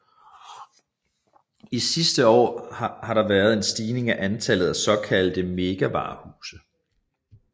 I de sidste år har der været en stigning i antallet af såkaldte megavarehuse